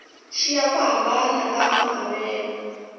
xiya ku hambana ka maavelo